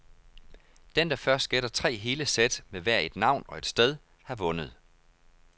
Den, der først gætter tre hele sæt med hver et navn og et sted, har vundet.